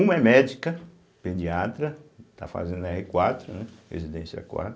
Uma é médica, pediatra, está fazendo erre quatro, né, residência quatro.